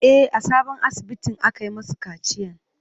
E, a sabon asibitin aka yi masu kaciyan.